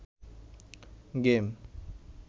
game